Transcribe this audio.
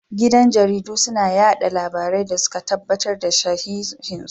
Gidan jarida suna yada labarai da suka tabbatar da shihan su